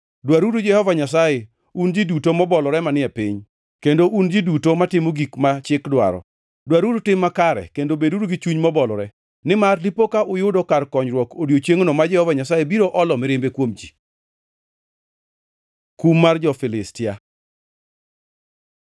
Dwaruru Jehova Nyasaye, un ji duto mobolore manie piny, kendo un ji duto matimo gik ma chik dwaro. Dwaruru tim makare, kendo beduru gi chuny mobolore, nimar dipo ka uyudo kar konyruok, odiechiengno ma Jehova Nyasaye biro olo mirimbe kuom ji. Kum mar jo-Filistia